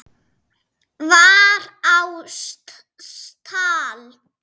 var á stall.